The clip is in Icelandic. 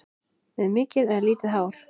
Með mikið eða lítið hár?